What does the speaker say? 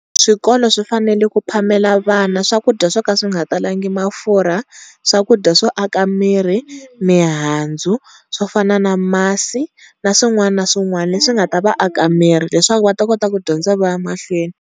Swikolo swi fanele ku phamela vana swakudya swo ka swi nga talangi mafurha, swakudya swo aka mirhi mihandzu swo fana na masi na swin'wana na swin'wana leswi nga ta vaaka mirhi leswaku va ta kota ku dyondza va ya mahlweni.